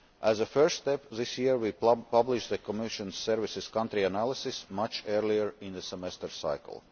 As a first step this year, we published the Commission's country analyses much earlier in the semester cycle.